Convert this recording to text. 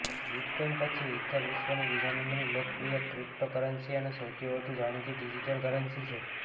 bitcoin પછી ether વિશ્વની બીજા નંબરની લોકપ્રિય ક્રિપ્ટોકરન્સી અને સૌથી વધુ જાણીતી ડિજિટલ કરન્સી છે